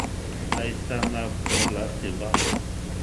Zdaj sta na oblasti oba.